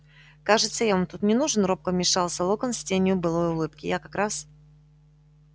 кажется я вам тут не нужен робко вмешался локонс с тенью былой улыбки я как раз